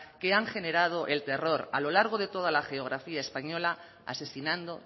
que han generado el terror a lo largo de toda la geografía española asesinando